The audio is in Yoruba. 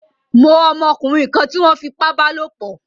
Mó ọmọkúnrin kan tí wón fipá bálòpò